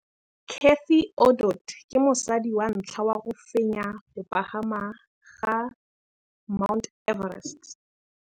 Cathy Odowd ke mosadi wa ntlha wa go fenya go pagama ga Mt Everest.